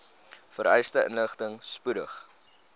vereiste inligting spoedig